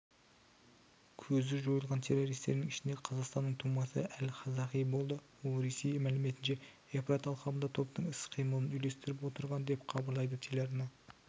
көзі жойылған террористердің ішінде қазақстанның тумасы әл-қазақи болды ол ресей мәліметінше евфрат алқабында топтың іс-қимылын үйлестіріп отырған деп хабарлайды телеарна